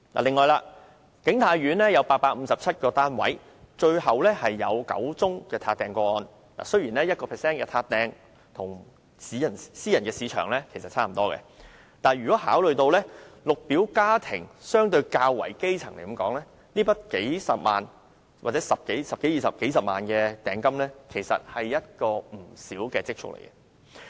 此外，景泰苑有857個單位，最後有9宗"撻訂"個案，雖然 1% 的"撻訂"比例與私人市場相若，但考慮到綠表家庭相對較為基層，這筆數十萬元，或10多萬元、20多萬元的訂金，其實是不少的積蓄。